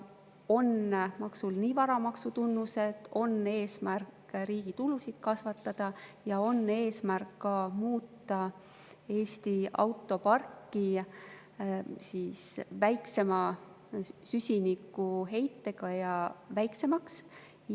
Sel maksul on nii varamaksu tunnused, eesmärk riigi tulusid kasvatada kui ka eesmärk muuta Eesti autopark ja selle süsinikuheide väiksemaks.